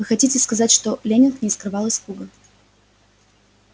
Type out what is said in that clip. вы хотите сказать что лэннинг не скрывал испуга